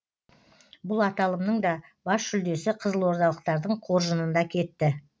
бұл аталымның да бас жүлдесі қызылордалықтардың қоржынында кетті